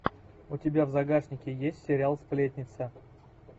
у тебя в загашнике есть сериал сплетница